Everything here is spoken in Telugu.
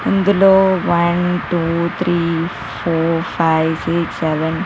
ఇందులో one two three three four five six seven eight --.